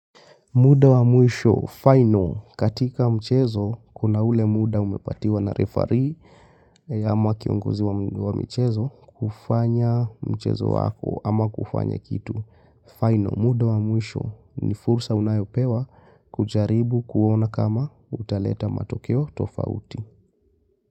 Muda wa mwisho, final, katika mchezo, kuna ule muda umepatiwa na referee ama kiongozi wa mchezo kufanya mchezo wako ama kufanya kitu. Final, muda wa mwisho ni fursa unayopewa kujaribu kuona kama utaleta matokeo tofauti.